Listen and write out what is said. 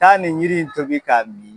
Taa nin yiri in tobi ka mi